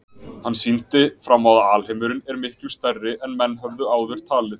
Hann sýndi fram á að alheimurinn er miklu stærri en menn höfðu áður talið.